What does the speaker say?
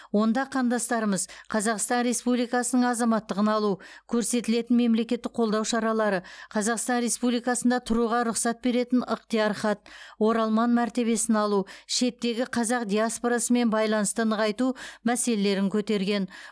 онда қандастарымыз қазақстан республикасының азаматтығын алу көрсетілетін мемлекеттік қолдау шаралары қазақстан республикасында тұруға рұқсат беретін ықтияр хат оралман мәртебесін алу шеттегі қазақ диаспорасымен байланысты нығайту мәселелерін көтерген